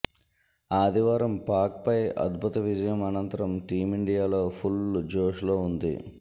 ఆదివారం పాక్పై అద్భుత విజయం అనంతరం టీమిండియాలో ఫుల్ జోష్లో ఉంది